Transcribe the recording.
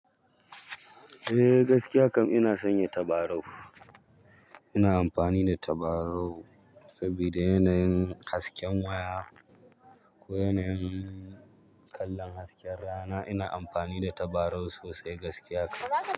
Eh gaskiya kam ina sanya tabarau. Ina amfani da tabarau sabida yanayin hasken waya ko yanayin kallon hasken rana. Ina amfani da tabarau sosai gaskiya kam.